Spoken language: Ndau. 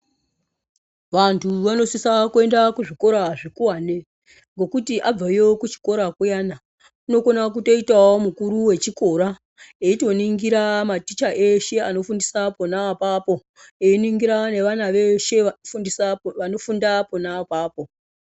Vantu vanosise kuenda kuzvikora zvikuwane ngekuti abveyo kuchikora kuyani unokona kutoitawo mukuru wechikora eitoningira maticha eshe anofundisa pona apapo einingira nevana veshe vanofunda pona apapo.